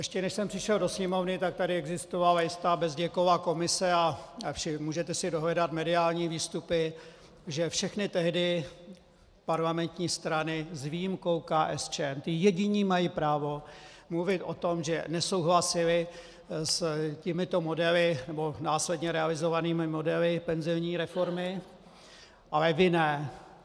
Ještě než jsem přišel do Sněmovny, tak tady existovala jistá Bezděkova komise a můžete si dohledat mediální výstupy, že všechny tehdy parlamentní strany s výjimkou KSČM - ti jediní mají právo mluvit o tom, že nesouhlasili s těmito modely nebo následně realizovanými modely penzijní reformy, ale vy ne.